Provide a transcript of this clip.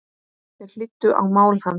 Þeir hlýddu á mál hans.